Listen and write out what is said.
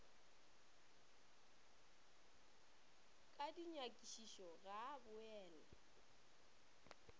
ka dinyakišišo ga a boele